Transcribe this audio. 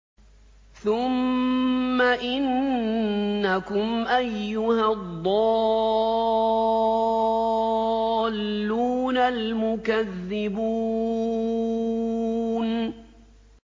ثُمَّ إِنَّكُمْ أَيُّهَا الضَّالُّونَ الْمُكَذِّبُونَ